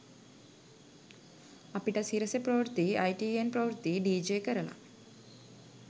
අපිට සිරසෙ ප්‍රවෘත්තියි අයිටීඑන් ප්‍රවෘත්තියි ඩීජේ කරල